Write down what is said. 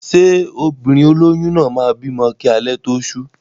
Ṣé obìnrin olóyún náà máa bímọ kí alẹ́ tó ṣú?